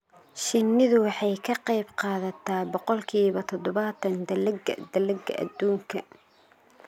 Shinnidu waxay ka qayb qaadataa boqolkiiba todobaatan dalagga dalagga adduunka.